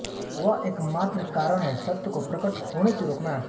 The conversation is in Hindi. वह एकमात्र कारण है सत्य को प्रकट होने से रोकना